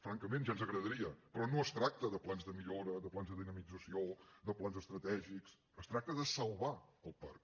francament ja ens agradaria però no es tracta de plans de millora de plans de dinamització de plans estratègics es tracta de salvar el parc